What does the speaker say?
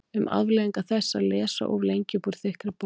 Um afleiðingar þess að lesa of lengi upp úr þykkri bók